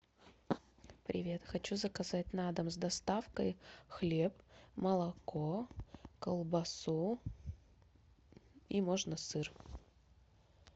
привет хочу заказать на дом с доставкой хлеб молоко колбасу и можно сыр